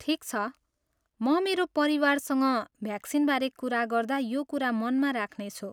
ठिक छ, म मेरो परिवारसँग भ्याक्सिनबारे कुरा गर्दा यो कुरा मनमा राख्नेछु।